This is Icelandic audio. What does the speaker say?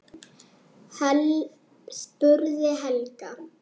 spurði Helga.